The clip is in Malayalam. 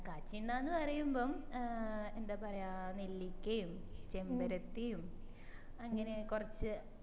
കാച്ചിയ എണ്ണന്ന് പറയറുമ്പോ ഏർ എന്താ പറയാ നെല്ലിക്കേം ചെമ്പരിത്തിം അങ്ങനെ കൊറച്